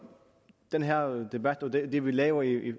den her debat og det vi laver i